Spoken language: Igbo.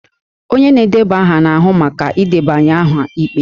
Onye na-edeba aha na-ahụ maka ịdebanye aha ikpe